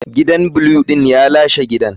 Gidan blue din ya lashe gidan.